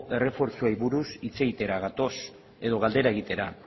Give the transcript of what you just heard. errefortzuei buruz hitz egitera gatoz edo galdera egitera